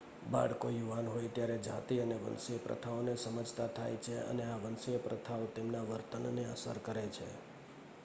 બાળકો યુવાન હોય ત્યારે જાતિ અને વંશીય પ્રથાઓને સમજતા થાય છે અને આ વંશીય પ્રથાઓ તેમના વર્તનને અસર કરે છે